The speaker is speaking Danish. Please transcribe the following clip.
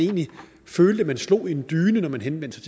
følte man slog i en dyne når man henvendte